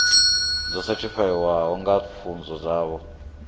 dzo sethifaiwaho dza pfunzo dzavho